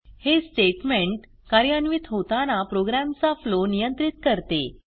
हे स्टेटमेंट कार्यान्वित होताना प्रोग्रॅमचा फ्लो नियंत्रित करते